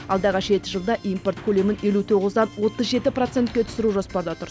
алдағы жеті жылда импорт көлемін елу тоғыздан отыз жеті процентке түсіру жоспарда тұр